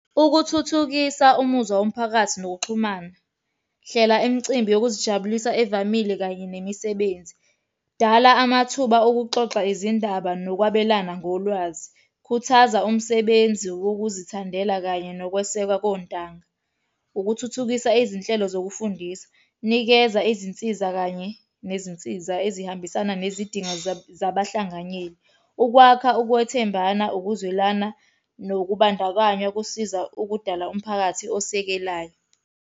Ukuthuthukisa umuzwa womphakathi nokuxhumana, hlela imicimbi yokuzijabulisa evamile kanye nemisebenzi. Dala amathuba okuxoxa izindaba nokwabelana ngolwazi. Khuthaza umsebenzi wokuzithandela kanye nokwesekwa kontanga. Ukuthuthukisa izinhlelo zokufundisa. Nikeza izinsiza kanye nezinsiza ezihambisana nezidingo zabahlanganyeli. Ukwakha ukwethembana, ukuzwelana nokubandakanya kusiza ukudala umphakathi osekelayo.